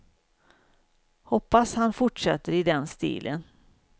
Hoppas han fortsätter i den stilen.